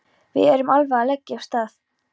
Við erum alveg að leggja af stað.